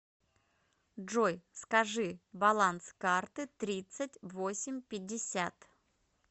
джой скажи баланс карты тридцать восемь пятьдесят